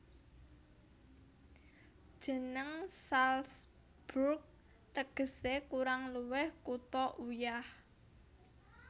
Jeneng Salzburg tegesé kurang luwih Kutha Uyah